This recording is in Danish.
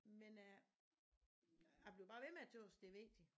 Men jeg jeg bliver bare ved med at tøs det vigtigt